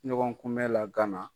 Ɲɔgɔn kun bɛ la Gana.